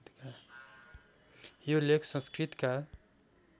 यो लेख संस्कृतका